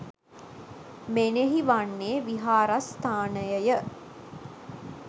මෙනෙහි වන්නේ විහාරස්ථානයය